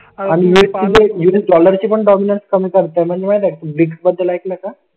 dollar ची पण document कमी करते म्हणजे माहिती का बद्दल ऐकलं का